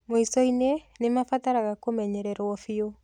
Mwico-inĩ, nĩ mabataraga kũmenyererũo biũ.